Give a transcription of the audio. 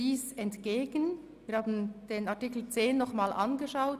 Die erforderlichen 40 Unterschriften werden im vorliegenden Dokument überschritten.